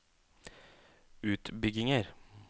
utbygginger